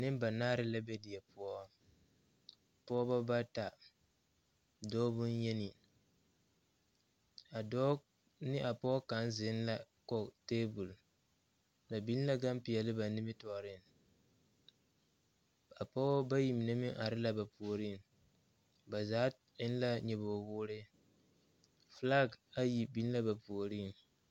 Nembanaare la be die poɔ pɔgeba bata dɔɔ boŋyeni a dɔɔ ne a pɔge kaŋ zeŋ la kɔge tebol ba biŋ la gampeɛle ba nimitɔɔreŋ a pɔgeba bayi mine are la ba puoriŋ ba zaa eŋ la nyɔbogi woore filaki ayi biŋ la ba puoriŋ.